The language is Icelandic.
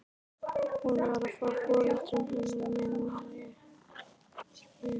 Hún var frá foreldrum hennar minnir mig.